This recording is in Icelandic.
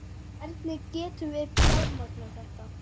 Hvernig getum við fjármagnað þetta?